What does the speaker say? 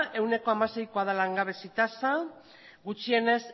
ehuneko hamaseikoa da langabezia tasa gutxienez